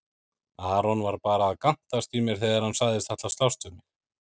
Aron var bara að gantast í mér þegar hann sagðist ætla að slást við mig.